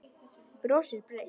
Brosir breitt.